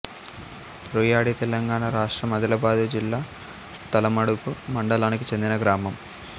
రుయ్యడితెలంగాణ రాష్ట్రం ఆదిలాబాదు జిల్లా తలమడుగు మండలానికి చెందిన గ్రామం